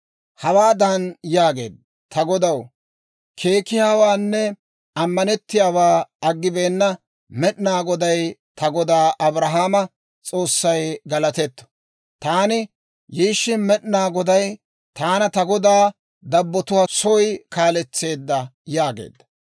hawaadan yaageedda; «Ta godaw keekiyaawaanne ammanettiyaawaa aggibeenna Med'ina Goday, ta godaa Abrahaama S'oossay galatetto! Taani yiishshin, Med'inaa Goday taana ta godaa dabbatuwaa soy kaaletseedda» yaageedda.